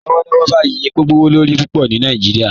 Lọwọlọwọ báyì epo gbowolorí púpọ ni Nàìjíríà